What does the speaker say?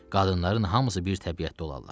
Qadınların hamısı bir təbiətdə olarlar.